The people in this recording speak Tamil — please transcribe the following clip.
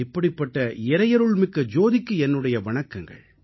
இப்படிப்பட்ட இறையருள்மிக்க ஜோதிக்கு என்னுடைய வணக்கங்கள்